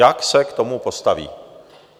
Jak se k tomu postaví?